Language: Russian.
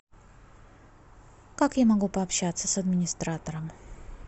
как я могу пообщаться с администратором